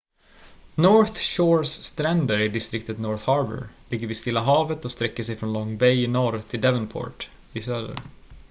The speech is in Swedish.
north shores stränder i distriktet north harbour ligger vid stilla havet och sträcker sig från long bay i norr till devonport i söder